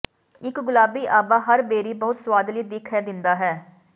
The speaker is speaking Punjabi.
ਇੱਕ ਗੁਲਾਬੀ ਆਭਾ ਹਰ ਬੇਰੀ ਬਹੁਤ ਸੁਆਦਲੀ ਦਿੱਖ ਹੈ ਦਿੰਦਾ ਹੈ